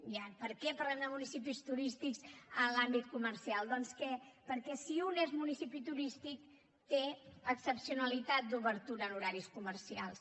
i ara per què parlem de municipis turístics en l’àmbit comercial doncs perquè si un és municipi turístic té excepcionalitat d’obertura en horaris comercials